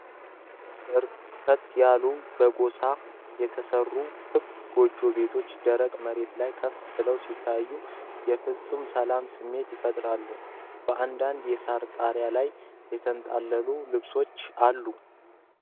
በርከት ያሉ በሳር የተሰሩ ክብ የጎጆ ቤቶች፣ ደረቅ መሬት ላይ ከፍ ብለው ሲታዩ የፍፁም ሰላም ስሜት ይፈጥራሉ። በአንዳንድ የሳር ጣሪያዎች ላይ የተንጠለጠሉ ልብሶች አሉ።